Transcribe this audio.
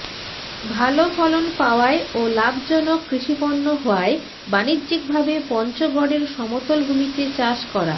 ভালো ফলন পাওয়ায় ও লাভজনক কৃষিপণ্য হওয়ায় বাণিজ্যিকভাবে পঞ্চগড়ের সমতল ভূমিতে চাষ করা